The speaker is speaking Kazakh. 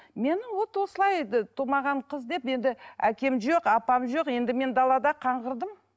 мені вот осылай тумаған қыз деп енді әкем жоқ апам жоқ енді мен далада қаңғырдым